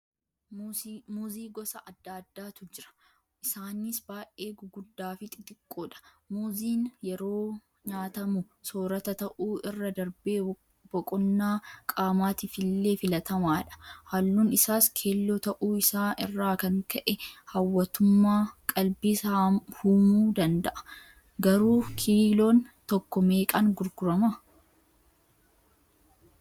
Muuzii gosa adda addaatu jira. Isaanis baay'ee guguddaafi xixiqqoodha. Muuziin yeroo nyaatamu soorata ta'uu irra darbee boqonnaa qaamaatiifillee filatamaadha. Halluun isaas Keelloo ta'uu isaa irraa kan ka'e hawwattummaa qalbiis huumuu danda'a. Garuu kiiloon tokko meeqaan gurgurama?